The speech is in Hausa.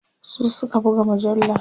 su Suka buga mujallar